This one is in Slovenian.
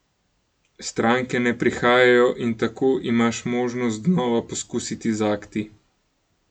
Stranke ne prihajajo, in tako imaš možnost znova poskusiti z akti.